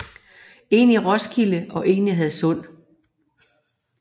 En i Roskilde og en i Hadsund